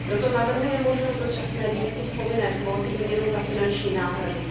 Proto navrhuje možnost dočasné výjimky z povinné kvóty výměnou za finanční náhrady.